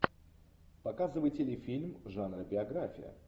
показывай телефильм жанра биография